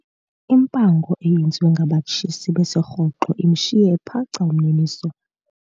Impango eyenziwe ngabatshisi besirhoxo imshiye ephaca umniniso.